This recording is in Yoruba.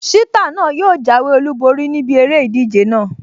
Ṣítà náà yóò jáwé olùborí níbi eré ìdíje náà